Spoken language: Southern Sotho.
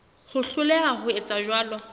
ho hloleha ho etsa jwalo